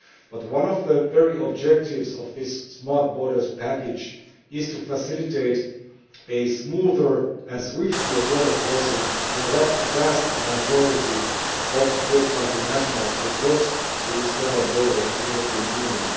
But one of the objectives of this Smart Borders Package is to facilitate smoother and swifter border crossing for the vast majority of third country nationals who cross the external borders of the European Union.